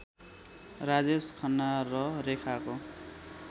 राजेश खन्ना र रेखाको